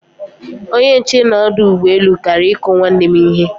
Onye nche n'odu ugboelu Kara iku nwanne m ihe